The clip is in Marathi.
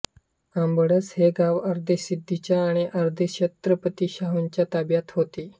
आंबडस हे गाव अर्धे सिद्दीच्या आणि अर्धे छत्रपती शाहूंच्या ताब्यात होते